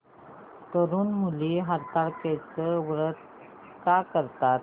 तरुण मुली हरतालिकेचं व्रत का करतात